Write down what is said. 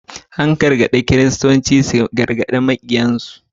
An gargaɗi Kiristoci su ƙaunaci maƙiyansu